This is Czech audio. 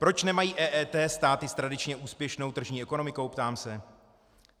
Proč nemají EET státy s tradičně úspěšnou tržní ekonomikou? ptám se.